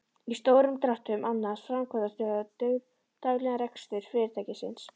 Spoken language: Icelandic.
Í stórum dráttum annast framkvæmdastjóri daglegan rekstur fyrirtækisins.